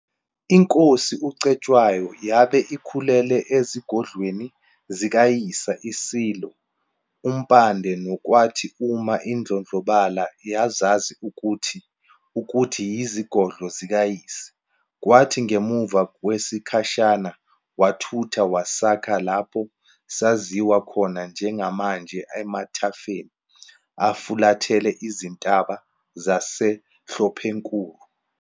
INkosi uCetshwayo yabe ikhulele ezigodlweni zikayise iSilo uMpande nokwathi uma idlondlobala yazazi ukuthi ukuthi yizigodlo zikayise. Kwathi ngemuva kwesikhashana wathutha wasakha lapho saziwa khona njengamanje emathafeni afulathele izintaba zaseHlophenkulu.